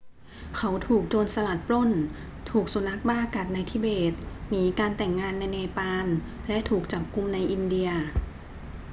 เขาถูกโจรสลัดปล้น ถูกสุนัขบ้ากัดในทิเบต หนีการแต่งงานในเนปาล และถูกจับกุมในอินเดีย